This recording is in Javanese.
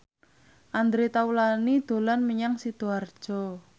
Andre Taulany dolan menyang Sidoarjo